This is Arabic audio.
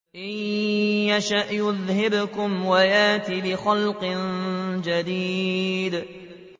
إِن يَشَأْ يُذْهِبْكُمْ وَيَأْتِ بِخَلْقٍ جَدِيدٍ